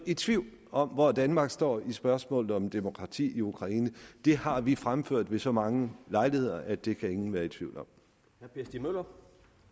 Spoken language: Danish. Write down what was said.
i tvivl om hvor danmark står i spørgsmålet om demokrati i ukraine det har vi fremført ved så mange lejligheder at det kan ingen være i tvivl om